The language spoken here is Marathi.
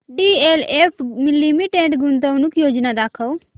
डीएलएफ लिमिटेड गुंतवणूक योजना दाखव